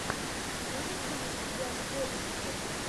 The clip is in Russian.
имеются ли у тебя любовницы